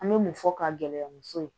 An me mun fɔ ka gɛlɛya muso ye